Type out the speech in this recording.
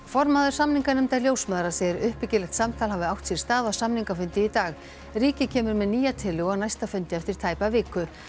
formaður samninganefndar ljósmæðra segir að uppbyggilegt samtal hafi átt sér stað á samningafundi í dag ríkið kemur með nýja tillögu á næsta fundi eftir tæpa viku